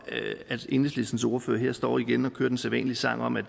at enhedslistens ordfører her står igen og synger den sædvanlige sang om at